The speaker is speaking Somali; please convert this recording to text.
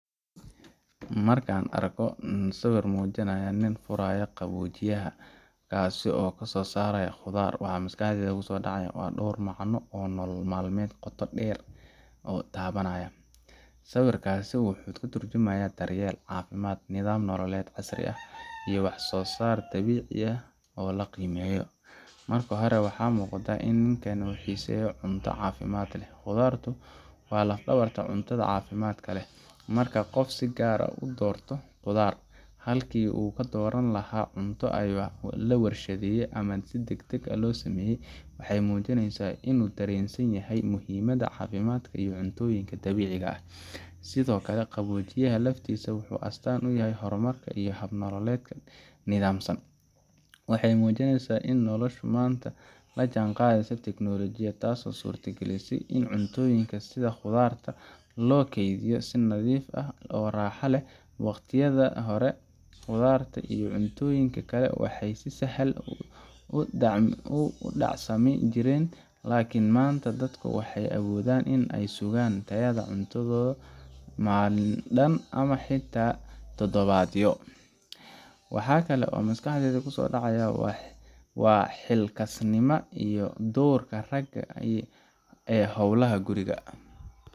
Marka aan arko sawir muujinaya nin furaya qaboojiyaha ka soo saaraya khudaar, waxa maskaxdayda ku soo dhacaya dhowr macno oo nolol maalmeedka qoto dheer taabanaya. Sawirkaasi wuxuu ka tarjumayaa daryeel, caafimaad, nidaam nololeed casri ah, iyo wax-soo-saar dabiici ah oo la qiimeeyo. Marka hore, waxaa muuqata in ninkani uu xiiseynayo cunto caafimaad leh. Khudaartu waa laf-dhabarta cuntada caafimaadka leh. Marka qof si gaar ah u doorto khudaar halkii uu ka dooran lahaa cunto la warshadeeyay ama degdeg loo sameeyo waxay muujinaysaa inuu dareensan yahay muhiimadda caafimaadka iyo cuntooyinka dabiiciga ah. Sidoo kale, qaboojiyaha laftiisa wuxuu astaan u yahay horumar iyo hab nololeed nidaamsan. Waxay muujinaysaa in noloshu maanta la jaanqaadayso teknolojiyad, taasoo suurtagelisay in cuntooyinka sida khudaarta loo kaydiyo si nadiif ah oo raaxo leh. Waqtiyadii hore, khudaarta iyo cuntooyinka kale waxay si sahal ah u dhacsami jireen, laakiin maanta dadku waxay awoodaan in ay sugaan tayada cuntadooda maalin dhan ama xitaa toddobaadyo. Wax kale oo maskaxda ku soo dhaca waa xilkasnimada iyo doorka ragga ee howlaha guriga